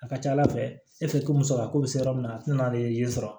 A ka ca ala fɛ e fɛ ko musolakaw bɛ se yɔrɔ min na a tɛna n'ale ye sɔrɔ